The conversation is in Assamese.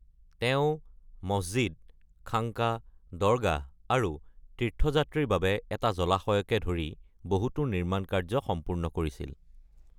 তেওঁ মছজিদ, খাংকা, দৰগাহ আৰু তীৰ্থযাত্ৰীৰ বাবে এটা জলাশয়কে ধৰি বহুতো নিৰ্মাণ কাৰ্য সম্পূৰ্ণ কৰিছিল।